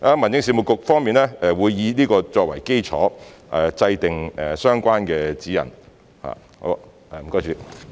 民政事務局方面會以此作為基礎，制訂相關的指引。